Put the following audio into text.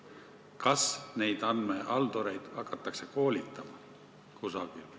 Kas neid andmehaldureid hakatakse kusagil koolitama?